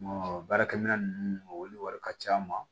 baarakɛ minɛn ninnu olu wari ka ca ma